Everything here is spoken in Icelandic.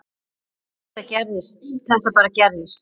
Þetta bara gerist.